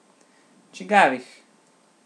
Čigavih?